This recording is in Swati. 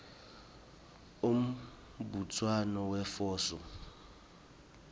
umbutsano wefoso